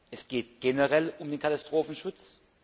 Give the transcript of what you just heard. Es geht generell um den Katastrophenschutz.